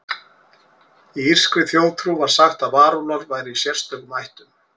Í írskri þjóðtrú var sagt að varúlfar væru í sérstökum ættum.